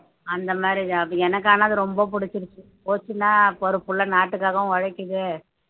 அந்த மாதிரி job எனக்கு ஆனா அது ரொம்ப பிடிச்சிருச்சு போச்சுன்னா பொறுப்புள்ள நாட்டுக்காகவும் உழைக்குது